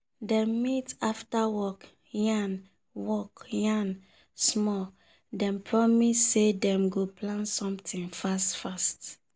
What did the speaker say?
dem meet after work yarn work yarn small dem promise say dem go plan sometin fast fast.